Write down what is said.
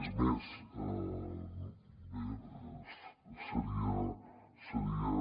és més bé seria